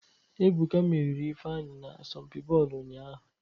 Ebuka meriri Ifeanyị n'asọmpi bọọlụ ụnyahụ